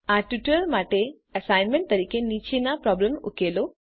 આ ટ્યુટોરીયલ માટે એસાઈનમેન્ટ તરીકે નીચેનો પ્રોબ્લેમ ઉકેલો